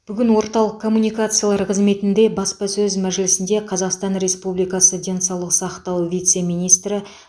бүгін орталық коммуникациялар қызметінде баспасөз мәжілісінде қазақстан республикасы денсаулық сақтау вице министрі